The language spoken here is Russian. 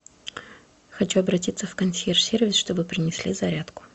хочу обратиться в консьерж сервис чтобы принесли зарядку